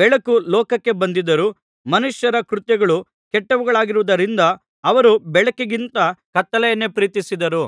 ಬೆಳಕು ಲೋಕಕ್ಕೆ ಬಂದಿದ್ದರೂ ಮನುಷ್ಯರ ಕೃತ್ಯಗಳು ಕೆಟ್ಟವುಗಳಾಗಿರುವುದರಿಂದ ಅವರು ಬೆಳಕಿಗಿಂತ ಕತ್ತಲೆಯನ್ನೇ ಪ್ರೀತಿಸಿದರು